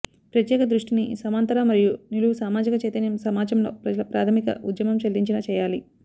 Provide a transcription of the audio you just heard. ప్రత్యేక దృష్టిని సమాంతర మరియు నిలువు సామాజిక చైతన్యం సమాజంలో ప్రజల ప్రాథమిక ఉద్యమం చెల్లించిన చేయాలి